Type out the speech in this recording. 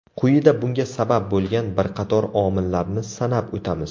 Quyida bunga sabab bo‘lgan bir qator omillarni sanab o‘tamiz.